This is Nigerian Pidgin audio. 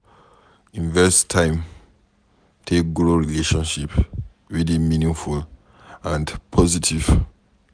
invest time take grow relationship wey dey meaningful and positive